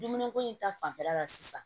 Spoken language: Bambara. Dumuni ko in ta fanfɛla la sisan